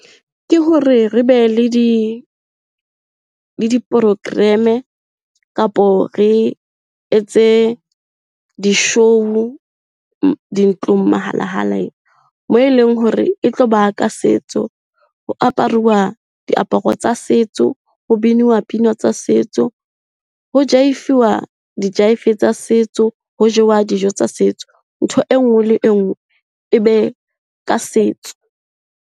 Ke hore re be le di-program-e kapo re etse di-show-u dintlong . Moo e leng hore e tlo ba ka setso, ho aparuwa diaparo tsa setso, ho binuwa pina tsa setso, ho jaefuwa dijaefe tsa setso, ho jewa dijo tsa setso. Ntho e nngwe le e nngwe e be ka setso.